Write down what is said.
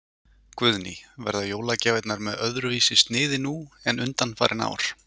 Guðný: Verða jólagjafirnar með öðruvísi sniði nú en undanfarin ár?